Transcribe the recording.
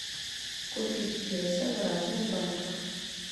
купить песо в разных банках